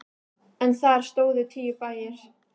En þar stóðu tíu bæir.